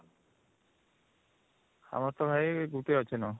ଆମର ତ ଭାଇ ଗୁଟେ ଆଚିନ